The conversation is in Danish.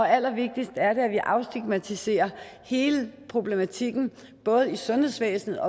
allervigtigst er det at vi afstigmatiserer hele problematikken både i sundhedsvæsenet